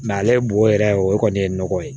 ale bo yɛrɛ o kɔni ye nɔgɔ ye